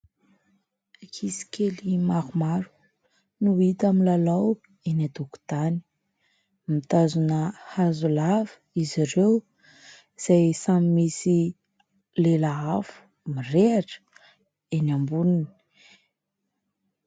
Ankizy kely maromaro no hita milalao eny an-tokontany. Mitazona hazo lava izy ireo, izay samy misy lela afo mirehitra eny amboniny.